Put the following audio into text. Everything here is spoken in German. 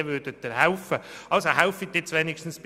Also, helfen Sie doch bitte bei 50 Prozent.